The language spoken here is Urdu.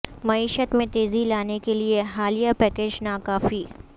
معیشت میں تیزی لانے کیلئے حالیہ پیکیج نا کافی